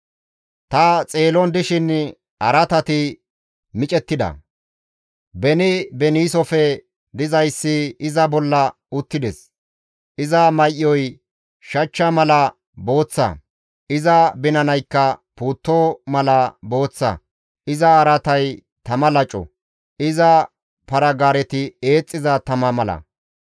«Ta xeelon dishin araatati micettida; beni beniisofe dizayssi iza bolla uttides; iza may7oy shachcha mala booththa; iza binanaykka puutto mala booththa; iza araatay tama laco, iza para-gaareti eexxiza tama mala.